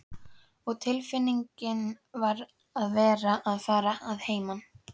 Og tilfinningin að vera að fara að heiman.